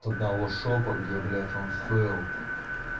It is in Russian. от одного шопа где блять он стоил